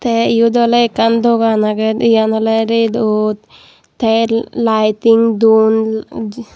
tey iyot oley ekkan dogan agey yan oley redot tey laiting don.